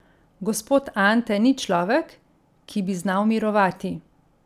Gospod Ante ni človek, ki bi znal mirovati.